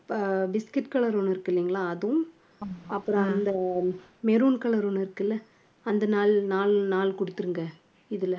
அஹ் biscuit color ஒண்ணு இருக்கு இல்லீங்களா அதுவும் அப்பறம் அந்த maroon color ஒண்ணு இருக்குல்ல அந்த நாலு நாலு நாலு கொடுத்திருங்க இதுல